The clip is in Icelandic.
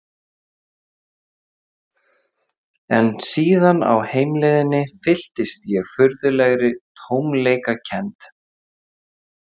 En síðan á heimleiðinni fylltist ég furðulegri tómleikakennd.